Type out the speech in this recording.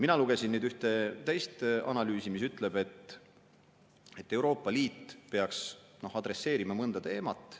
Mina lugesin nüüd ühte teist analüüsi, mis ütleb, et Euroopa Liit peaks mõne teemaga.